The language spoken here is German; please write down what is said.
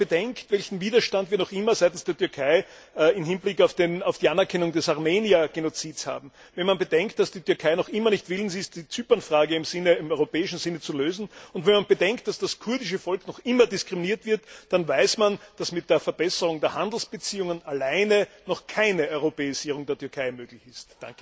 Wenn man bedenkt, welchen Widerstand wir noch immer seitens der Türkei im Hinblick auf die Anerkennung des Armenier Genozids haben, wenn man bedenkt, dass die Türkei noch immer nicht willens ist, die Zypernfrage im europäischen Sinne zu lösen, und wenn man bedenkt, dass das kurdische Volk noch immer diskriminiert wird, dann weiß man, dass mit der Verbesserung der Handelsbeziehungen alleine noch keine Europäisierung der Türkei möglich ist.